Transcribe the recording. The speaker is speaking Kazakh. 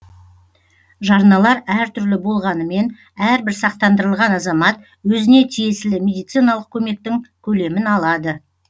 жарналар әртүрлі болғанымен әрбір сақтандырылған азамат өзіне тиесілі медициналық көмектің көлемін алады